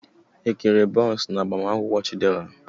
E kere bọns n'agbamakwụkwọ Chidera?